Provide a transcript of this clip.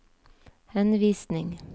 henvisning